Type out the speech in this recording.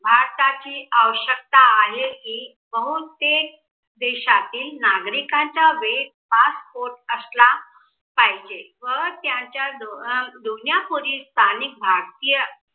भारताची आवश्यकता आहे. कि बहुतेक देशातील नागरिकांचा वेळ passport असला पाहिजे. व त्यांच्या जुन्या स्थानिक भारतीय